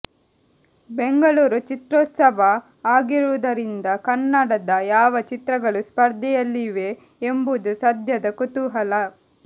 ಬೆಂಗಳೂರು ಚಿತ್ರೋತ್ಸವ ಆಗಿರುವುದರಿಂದ ಕನ್ನಡದ ಯಾವ ಚಿತ್ರಗಳು ಸ್ಪರ್ಧೆಯಲ್ಲಿವೆ ಎಂಬುದು ಸದ್ಯದ ಕುತೂಹಲ